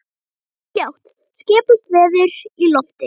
En fljótt skipuðust veður í lofti.